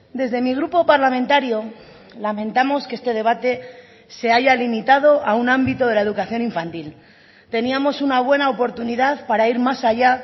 desde mi grupo parlamentario lamentamos que este debate se haya limitado a un ámbito de la educación infantil teníamos una buena oportunidad para ir más allá